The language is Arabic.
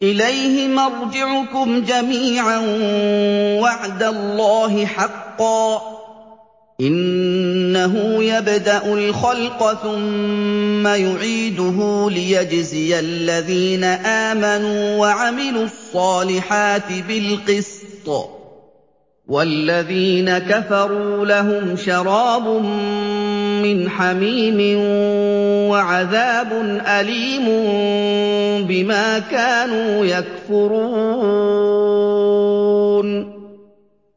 إِلَيْهِ مَرْجِعُكُمْ جَمِيعًا ۖ وَعْدَ اللَّهِ حَقًّا ۚ إِنَّهُ يَبْدَأُ الْخَلْقَ ثُمَّ يُعِيدُهُ لِيَجْزِيَ الَّذِينَ آمَنُوا وَعَمِلُوا الصَّالِحَاتِ بِالْقِسْطِ ۚ وَالَّذِينَ كَفَرُوا لَهُمْ شَرَابٌ مِّنْ حَمِيمٍ وَعَذَابٌ أَلِيمٌ بِمَا كَانُوا يَكْفُرُونَ